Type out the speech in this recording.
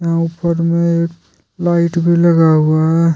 यहां ऊपर में एक लाइट भी लगा हुआ है।